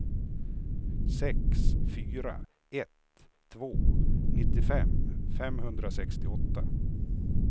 sex fyra ett två nittiofem femhundrasextioåtta